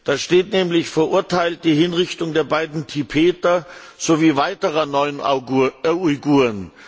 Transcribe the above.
Da steht nämlich Verurteilt die Hinrichtung der beiden Tibeter sowie weiterer neun Uiguren.